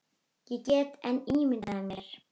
Ég get enn ímyndað mér!